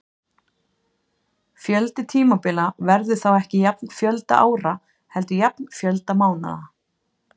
Fjöldi tímabila verður þá ekki jafn fjölda ára heldur jafn fjölda mánaða.